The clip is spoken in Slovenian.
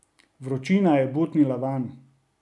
Vročina je butnila vanj.